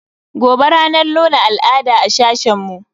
Gobe ranar nuna al'ada a sashen mu.